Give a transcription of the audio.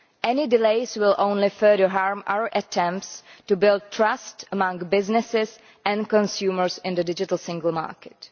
Any delays will only further harm our attempts to build trust among businesses and consumers in the Digital Single Market.